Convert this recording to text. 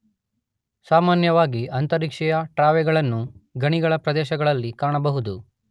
ಸಾಮಾನ್ಯವಾಗಿ ಅಂತರಿಕ್ಷೀಯ ಟ್ರಾಂವೇಗಳನ್ನು ಗಣಿಗಳ ಪ್ರದೇಶದಲ್ಲಿ ಕಾಣಬಹುದು.